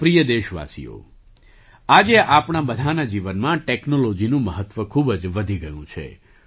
મારા પ્રિય દેશવાસીઓ આજે આપણા બધાનાં જીવનમાં ટૅક્નૉલૉજી નું મહત્ત્વ ખૂબ જ વધી ગયું છે